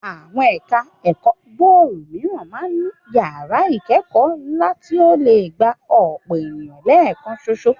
Àwọn ẹ̀ka ẹ̀kọ́ gbòòrò mìíràn máa ń ní yàrá ìkẹ́kọ̀ọ́ ńlá tí ó lè gba ọ̀pọ̀ ènìyàn lẹ́ẹ̀kan ṣoṣo